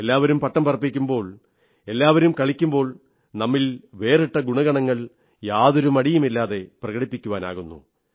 എല്ലാവരും പട്ടം പറപ്പിക്കുമ്പോൾ എല്ലാവരും കളിക്കൂമ്പോൾ നമ്മിലുള്ള വേറിട്ട ഗുണഗണങ്ങൾ യാതൊരു മടിയുമില്ലാതെ പ്രകടിപ്പിക്കുവാനാകുന്നു